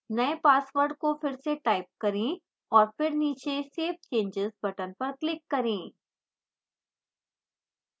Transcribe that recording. new password को फिर से type करें और फिर नीचे save changes button पर click करें